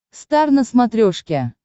стар на смотрешке